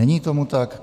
Není tomu tak.